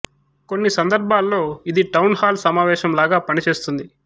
కొన్ని సందర్భాల్లో ఇది టౌన్ హాల్ సమావేశం లాగా పనిచేస్తుంది